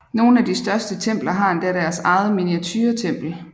Nogle af de største templer har endda deres eget miniaturetempel